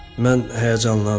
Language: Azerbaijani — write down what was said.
Mən həyəcanlandım.